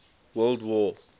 world war